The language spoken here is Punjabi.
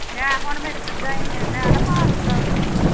ਮੈਂ ਹੁਣ ਮੇਰੀ ਭਰਜਾਈ ਨੇ ਮੈਂ ਨਾ ਭਾਰਤ ਦਾ ਉਹਨੂੰ